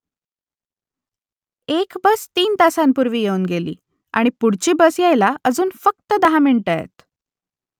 एक बस तीन तासांपूर्वी येऊन गेली आणि पुढची बस यायला अजून फक्त दहा मिनिटं आहेत